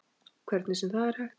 Hvernig sem það er hægt.